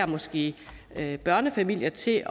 måske især børnefamilier til